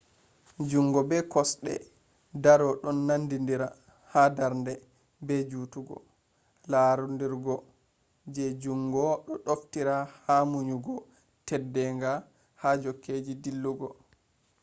jungo be kosde doro ɗon nandidira ha darnde be jutugo larudurgo je jungo do naftira ha munyugo teddenga ha jokkeji dillugo